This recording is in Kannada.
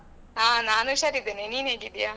ಹಾ ನಾನು ಹುಷಾರ್ ಆಗಿದ್ದೇನೆ ನೀನು ಹೇಗಿದ್ದೀಯಾ?